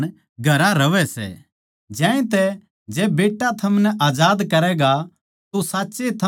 ज्यांतै जै बेट्टा थमनै आजाद करैगा तो साच्ये थम आजाद हो जाओगे